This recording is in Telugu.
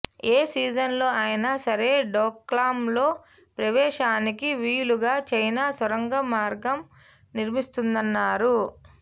ఏ సీజన్లో అయినా సరే డోక్లాంలో ప్రవేశానికి వీలుగా చైనా సొరంగ మార్గం నిర్మిస్తోందన్నారు